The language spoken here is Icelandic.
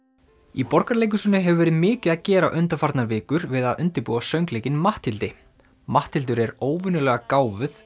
í Borgarleikhúsinu hefur verið mikið að gera undanfarnar vikur við að undirbúa söngleikinn Matthildi Matthildur er óvenjulega gáfuð